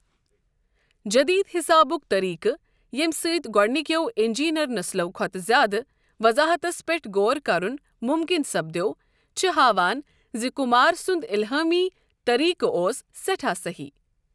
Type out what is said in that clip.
جدید حسابٗك طریقہٕ ییمہِ سۭتۍ گوڈنِكیو اِنجینیر نسلو٘ كھوتہٕ زیادٕ وضاحتس پیٹھ غور كرٗن مٗمكِن سپدیو، چھ ہاوان زِ كٗمار سند الہٲمی طریقہٕ اوس سیٹھاہ سہی ۔